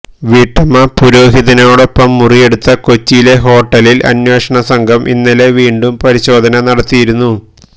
വീട്ടമ്മ പുരോഹിതനോടൊപ്പം മുറിയെടുത്ത കൊച്ചിയിലെ ഹോട്ടലിൽ അന്വേഷണ സംഘം ഇന്നലെ വീണ്ടും പരിശോധന നടത്തിയിരുന്നു